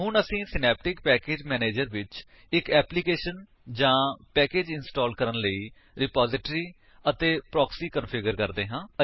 ਹੁਣ ਅਸੀ synaptic package manager ਵਿੱਚ ਇੱਕ ਐਪਲੀਕੇਸ਼ਨ ਜਾਂ ਪੈਕੇਜ ਇੰਸਟਾਲ ਕਰਨ ਲਈ ਰਿਪੋਜਿਟਰੀ ਅਤੇ ਪ੍ਰੋਕਸੀ ਕੰਫਿਗਰ ਕਰਦੇ ਹਾਂ